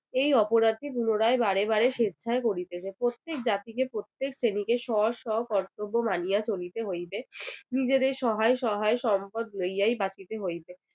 এই অপরাধটি পুনরায় বারে বারে স্বেচ্ছায় করিতেছে। প্রত্যেক জাতিকে প্রত্যেক শ্রেণিতে শহ শহ কর্তব্য মানিয়া চলিতে হইবে। নিজেদের সহায় সহায় সম্পদ লইয়াই বাঁচিতে হইবে